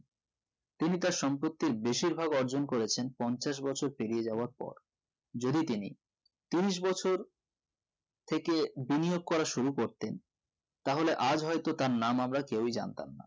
তিনি তার সম্পত্তির বেশির ভাগ অর্জন করেছেন পঞ্চাশ বছর পেরিয়ে যাবার পর যদি তিনি তিরিশবছর থেকে বিনিয়োগ করা শুরু করতেন তাহলে আজ হয়তো তার নাম আমরা কেও জানতাম না